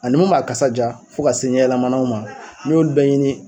Ani mun m'a kasa jaa fo ka se ɲɛyɛlɛmanaw ma n'i y'olu bɛɛ ɲini